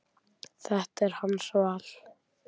Þetta er hans val.